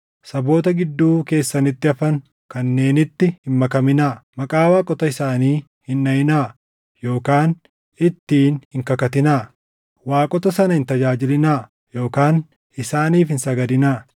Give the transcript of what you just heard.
Saboota gidduu keessanitti hafan kanneenitti hin makaminaa; maqaa waaqota isaanii hin dhaʼinaa yookaan ittiin hin kakatinaa. Waaqota sana hin tajaajilinaa yookaan isaaniif hin sagadinaa.